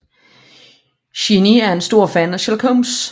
Shinichi er en stor fan af Sherlock Holmes